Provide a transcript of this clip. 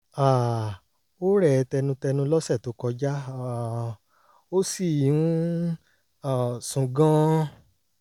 um ó rẹ̀ ẹ́ tẹnutẹnu lọ́sẹ̀ tó kọjá um ó sì ń um sùn gan-an